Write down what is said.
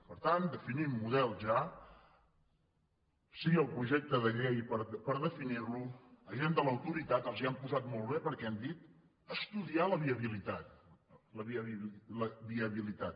per tant definim model ja sí al projecte de llei per definir lo agent de l’autoritat els ho han posat molt bé perquè han dit estudiar la viabilitat la viabilitat